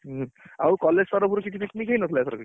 ଉଁ ଆଉ college ତରଫରୁ କିଛି picnic ହେଇନଥିଲା ଏଥରକ